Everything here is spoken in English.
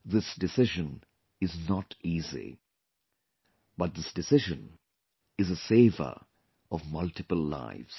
This decision is not easy, but this decision is a saver of multiple lives